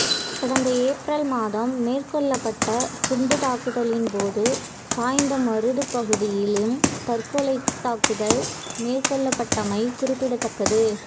கடந்த ஏப்ரல் மாதம் மேற்கொள்ளப்பட்ட குண்டுத் தாக்குதலின் போது சாய்ந்தமருதுப் பகுதியிலும் தற்கொலைத்தாக்குதல் மேற்கொள்ளப்பட்டமை குறிப்பிடத்தக்கது